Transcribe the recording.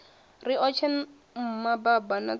riotshe mma baba o ntsia